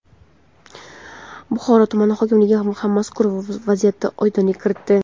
Buxoro tuman hokimligi ham mazkur vaziyatga oydinlik kiritdi.